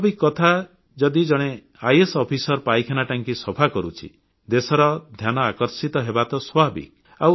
ସ୍ୱାଭାବିକ କଥା ଯଦି ଜଣେ ଆଇଏଏସ୍ ଅଫିସର ପାଇଖାନା ଟାଙ୍କି ସଫା କରୁଛି ଦେଶର ଧ୍ୟାନ ଆକର୍ଷିତ ହେବା ତ ସ୍ୱାଭାବିକ